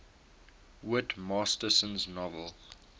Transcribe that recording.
whit masterson's novel